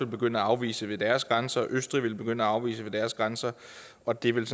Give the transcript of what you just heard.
begynde at afvise ved deres grænser østrig ville begynde at afvise ved deres grænser og det ville